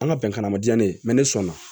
An ka bɛnkan na ma diya ne ye ne sɔn na